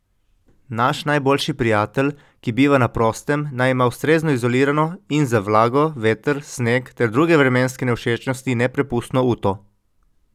Naš najboljši prijatelj, ki biva na prostem, naj ima ustrezno izolirano in za vlago, veter, sneg ter druge vremenske nevšečnosti neprepustno uto.